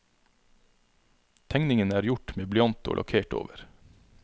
Tegningene er gjort med blyant og lakkert over.